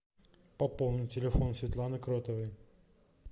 пополни телефон светланы кротовой